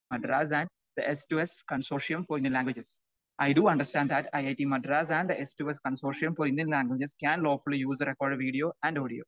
Madras and the S 2 S consortium for Indian languages. I do understand that it Madras and the S two S consortium for Indian languages can lawfully use the record video and audio